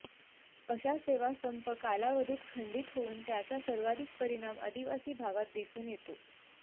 अशा सेवा संप कालावधीत खंडीत होऊन त्याचा सर्वाधिक परिणाम आदिवासी भागात दिसून येतो